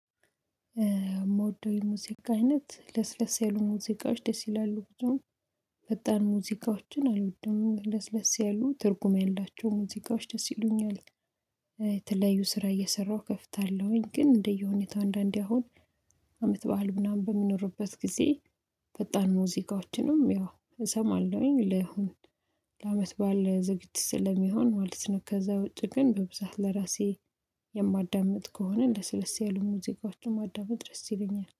ምወደው የሙዚቃ አይነት? ለስለስ ያሉ ሙዚቃዎች ደስ ይላሉ። ብዙም ፈጣን ሙዚቃዎችን አልወድም። ለስለስ ያሉ ትርጉም ያላቸው ሙዚቃዎች ደስ ይሉኛል። የተለያዩ ስራ እየሰራሁ ከፍታለሁኝ። ግን እንደየሁኔታው አንዳንዴ አሁን አመት በዓል ምናምን በሚኖርበት ጊዜ፤ ፈጣን ሙዚቃዎችንም ያው እሰማለሁኝ። ለሁን ለአመት በዓለ ዝግጅት ስለሚሆን ማለት ነው። ከዛ ውጪ ግን በብዛት ለራሴ የማዳምጥ ከሆነ ለስለስ ያሉ ሙዚቃዎችን ማዳመጥ ደስ ይለኛል።